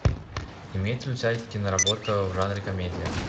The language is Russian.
имеется ли у тебя киноработа в жанре комедия